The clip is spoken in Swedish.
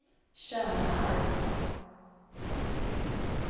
Tjörnarp